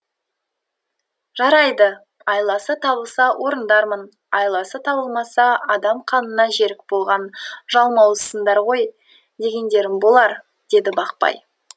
жарайды айласы табылса орындармын айласы табылмаса адам қанына жерік болған жалмауызсыңдар ғой дегендерің болар деді бақпай